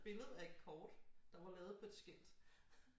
Billede af et kort der var lavet på et skilt